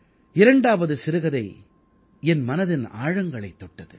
இரண்டாவது சிறுகதை என் மனதின் ஆழங்களைத் தொட்டது